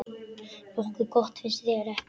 Nokkuð gott, finnst þér ekki?